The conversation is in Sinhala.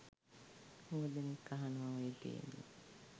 හුඟදෙනෙක් අහනවා ඔය තියෙන්නේ